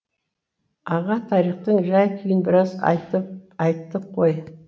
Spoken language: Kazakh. аға тарихтың жай күйін біраз айттық қой